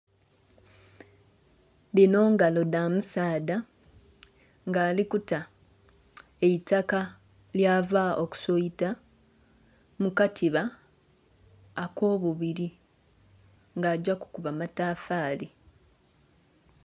Dhino ngalo dha musaadha nga ali kuta eitaka lyava okusoita mu katiba ok'obubiri. Nga agya kukuba matafaali.